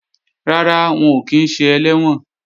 Rárá, wọn ò kí ń ṣe ẹlẹ́wọ̀n